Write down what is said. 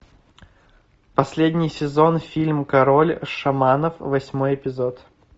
последний сезон фильм король шаманов восьмой эпизод